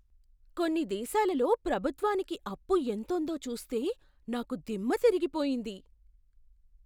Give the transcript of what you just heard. కొన్ని దేశాలలో ప్రభుత్వానికి అప్పు ఎంతుందో చూస్తే నాకు దిమ్మ దిరిగిపోయింది!